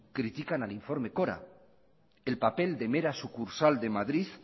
critican al informe cora el papel de mera sucursal de madrid